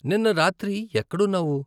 నిన్న రాత్రి ఎక్కడున్నావు?